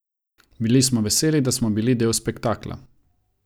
Bili smo veseli, da smo bili del spektakla.